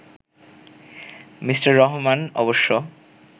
Mr Rahman অবশ্য